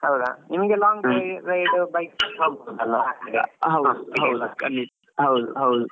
ನಿಮ್ಗೆ long~ drive bike ನಲ್ಲಿ ಹೋಗ್ಬಹುದು ಅಲ್ವ.